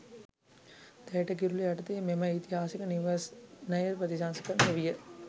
දැයට කිරුළ යටතේ මෙම ඓතිහාසික නිවෙස්නය ප්‍රතිසංස්කරණය විය